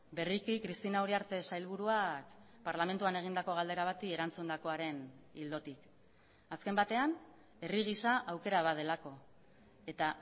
berriki cristina uriarte sailburuak parlamentuan egindako galdera bati erantzundakoaren ildotik azken batean herri gisa aukera bat delako eta